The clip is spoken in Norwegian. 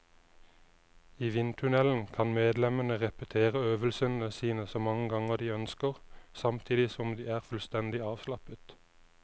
I vindtunnelen kan medlemmene repetere øvelsene sine så mange ganger de ønsker, samtidig som de er fullstendig avslappet.